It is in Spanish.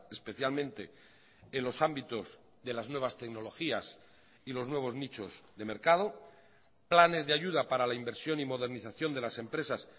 especialmente en los ámbitos de las nuevas tecnologías y los nuevos nichos de mercado planes de ayuda para la inversión y modernización de las empresas